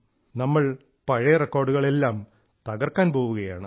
നമ്മൾ പഴയ റെക്കോർഡുകൾ എല്ലാം തകർക്കാൻ പോവുകയാണ്